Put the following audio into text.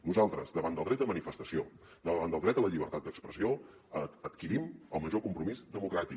nosaltres davant del dret de manifestació davant del dret a la llibertat d’expressió adquirim el major compromís democràtic